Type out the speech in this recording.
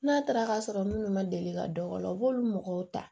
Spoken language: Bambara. N'a taara ka sɔrɔ minnu ma deli ka dɔ o la u b'olu mɔgɔw ta